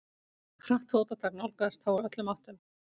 Hratt fótatak nálgaðist þá úr öllum áttum.